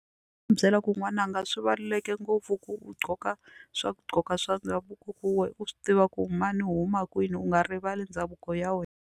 U byela ku n'wananga swi baluleke ngopfu ku u gqoka swakugqoka swa ndhavuko ku we u swi tiva ku mani u huma kwini u nga rivali ndhavuko ya wena.